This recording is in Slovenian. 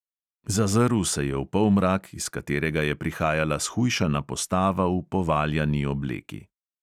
Zazrl se je v polmrak, iz katerega je prihajala shujšana postava v povaljani obleki.